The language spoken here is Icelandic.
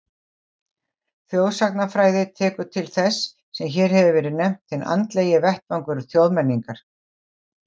Þjóðsagnafræði tekur til þess sem hér hefur verið nefnt hinn andlegi vettvangur þjóðmenningar.